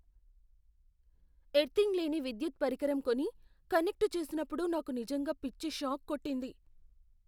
Earthing లేని విద్యుత్ పరికరం కొని, కనెక్ట్ చేసినప్పుడు నాకు నిజంగా పిచ్చి షాక్ కొట్టింది.